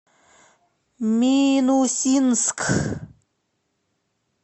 минусинск